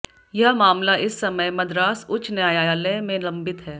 यह मामला इस समय मद्रास उच्च न्यायालय में लंबित है